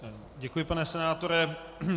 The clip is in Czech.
Děkuji pane senátore.